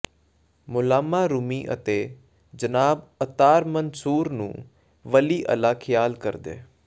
ਮੌਲਾਮਾ Rumi ਅਤੇ ਜਨਾਬ Attar Mansoor ਨੂੰ ਵਲੀ ਅੱਲਾ ਖਿਆਲ ਕਰਦੇ